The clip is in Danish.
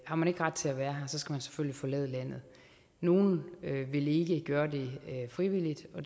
har man ikke ret til at være her skal man selvfølgelig forlade landet nogle vil ikke gøre det frivilligt og